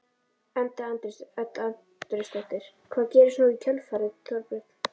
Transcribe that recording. Edda Andrésdóttir: Hvað gerist nú í kjölfarið Þorbjörn?